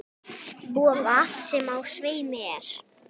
Vofa, sem á sveimi er.